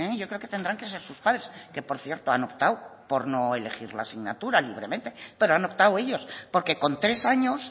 yo creo que tendrán que ser sus padres que por cierto han optado por no elegir la asignatura libremente pero han optado ellos porque con tres años